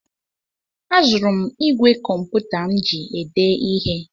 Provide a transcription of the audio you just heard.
Azụrụ m ìgwè kọmputa m ji ede ihe.